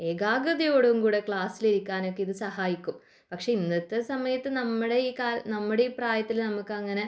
ജാഗ്രതയോടെ ക്ലാസ്സിൽ ഇരിക്കാനും ഇത് സഹായിക്കും പക്ഷെ ഇന്നത്തെ ഈ സമയത്തു നമ്മുടെ ഈ കാലത്തു